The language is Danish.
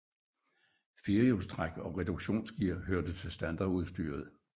Firehjulstræk og reduktionsgear hørte til standardudstyret